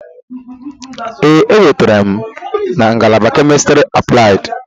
Ee, enwetara m na ngalaba Chemistry Applied.